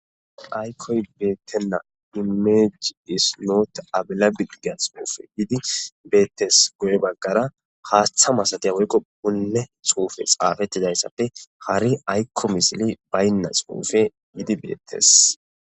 Aykkoy beettenna imejji isnoota abila bilgia xuufe yidi beettes goye baggara haaththa masatiya woykko punne xuufe xaafettidayssappe hari aykko misili baynna xuufe yiidi beettes.